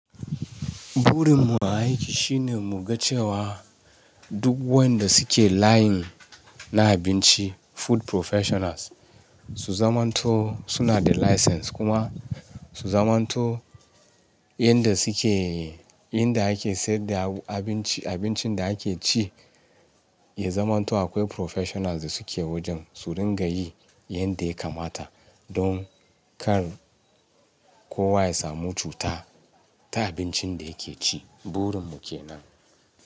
Burin mu a aiki shine mu ga cewa duk wayanda suke layin na abinci food professionals su zamanto suna da license kuma su zamanto inda suke inda ake sayar da abinci, abincin da ake ci ya zamanto akwai professionals da suke wajen su dinga yi yanda ya kamata don kar kowa ya samu cuta ta abincin da yake ci. Burin mu kenan.